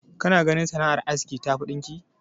Kana ganin sanar aski tafi ta ɗinki?